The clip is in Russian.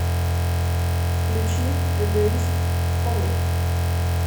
включи эгоист хоми